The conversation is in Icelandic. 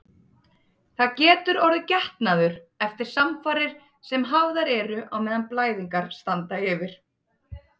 Það getur orðið getnaður eftir samfarir sem hafðar eru á meðan blæðingar standa yfir.